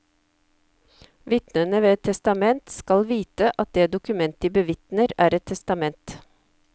Vitnene ved et testament skal vite at det dokument de bevitner, er et testament.